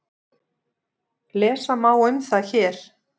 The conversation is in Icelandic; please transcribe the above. Lesa má um það hér.